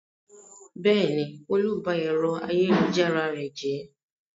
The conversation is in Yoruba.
Bẹ́ẹ̀ni, Olú ba ẹ̀rọ ayélujára rẹ jẹ́.